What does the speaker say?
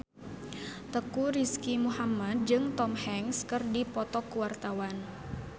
Teuku Rizky Muhammad jeung Tom Hanks keur dipoto ku wartawan